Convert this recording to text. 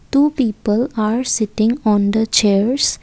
two people are sitting on the chairs.